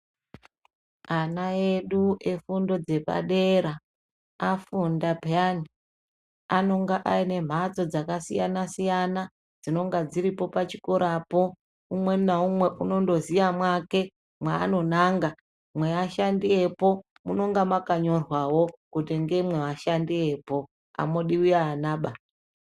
Ana edu efundo dzepadera afunda peyani. Anonga ane mhatso dzakasiyana siyana dzinenge dziripo pachikorapo. Umwe naumwe unondoziya mwake mwaanonanga. Mweashandi epo munenge makanyorwawo kuti ngemwevashandi vepo amudiwi vanaba.